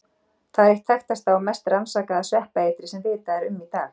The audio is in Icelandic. Það er eitt þekktasta og mest rannsakaða sveppaeitrið sem vitað er um í dag.